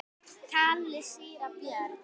kallaði síra Björn.